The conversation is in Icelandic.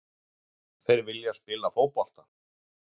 Þeir vilja spila fótbolta.